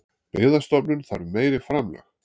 Byggðastofnun þarf meiri framlög